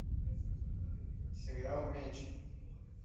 сериал меч